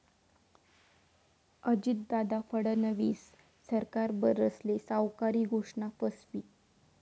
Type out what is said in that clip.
अजितदादा, फडणवीस सरकार बरसले, सावकारी घोषणा फसवी!